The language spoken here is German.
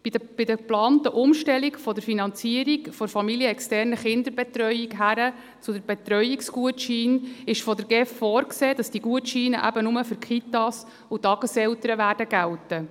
Die GEF sieht bei der geplanten Umstellung der Finanzierung der familienexternen Kinderbetreuung hin zu den Betreuungsgutscheinen vor, dass diese Gutscheine nur für die Kitas und die Tageseltern gelten werden.